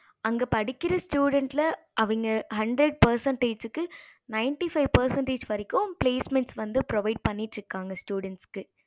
அங்க படிக்கற student அவங்க hundred percentage ninety five percentage வரைக்கும் placement வந்து provide பண்ணிட்டு இருக்காங்க students க்கு